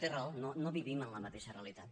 té raó no vivim en la mateixa realitat